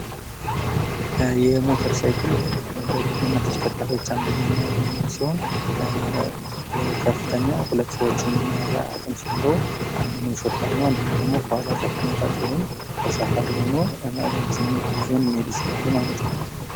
የሞተር ሳይክል ከተሸከርካሪዎች አንዱ ሲሆን ከፍተኛ ሁለት ተሳፋሪዎችን የሚይዝ አቅም ሲኖረው አንደኛው አሽከርካሪ ሲሆን ሁለተኛ ደረጃ ተሰፋሪው ሆኖ መሄድ ይችላሉ ማለት ነው።